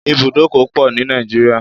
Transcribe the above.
There are many bus stops in Nigeria